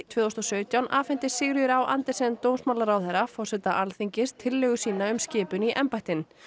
tvö þúsund og sautján afhenti Sigríður á Andersen dómsmálaráðherra forseta Alþingis tillögu sína um skipun í embættin